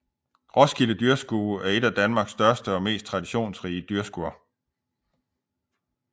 Roskilde Dyrskue er et af Danmarks største og mest traditionsrige dyrskuer